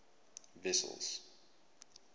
wessels